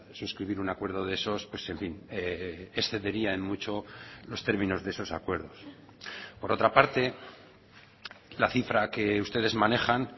suscribir un acuerdo de esos excedería en mucho los términos de esos acuerdos por otra parte la cifra que ustedes manejan